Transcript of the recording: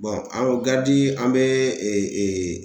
anw an bɛ